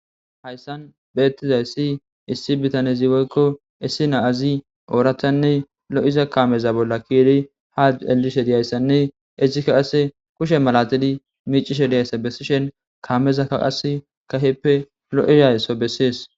Hayssan beettizay si issi bitane ziwoykko issi naazi ooratanne lo7iza kameza bolla kiiri ha elishe diyayssanne issikaqase kushe malatidi miicishe diyayssa bessishen kaameza kaqas kaheppe lo7izaysso bessees